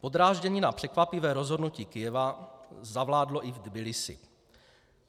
Podráždění na překvapivé rozhodnutí Kyjeva zavládlo i v Tbilisi.